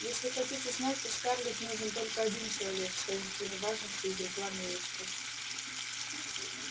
если хотите знать то скарлетт нужен только один человек с таинственной важностью изрекла милочка